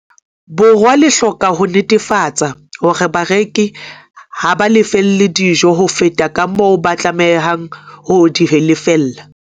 Borwa le hloka ho netefatsa hore bareki ha ba lefelle dijo ho feta kamoo ba tlamehang ho di lefella.